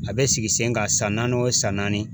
A bɛ sigi sen kan san naani o san naani